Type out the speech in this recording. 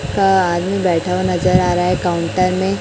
एक आदमी बैठा हुवा नजर आ रहा है काउंटर में।